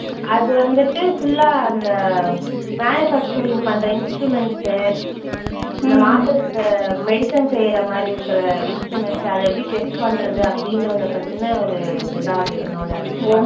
அது வந்துட்டு full ஆ அந்த manufacturing பண்ற instruments உ, இந்த மாத்திரை அஹ் medicine செய்ற மாதிரி இருக்கிற instruments. அது எப்படி test பண்றது அப்படின்றத பத்தின ஒரு இது தான் அது என்னோட department